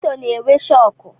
Moto na-enwe shọkụ